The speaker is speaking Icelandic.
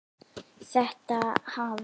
Þetta hafi